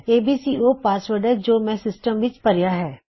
ABC ਉਹ password ਹੈ ਜੋ ਮੈਂ ਸਿਸਟਮ ਵਿੱਚ ਭਰਇਆ ਹੈ